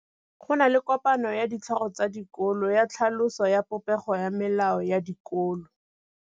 Go na le kopanô ya ditlhogo tsa dikolo ya tlhaloso ya popêgô ya melao ya dikolo.